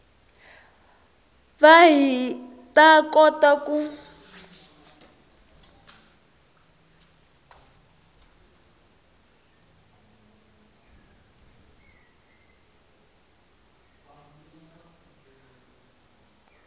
va hi ta kota ku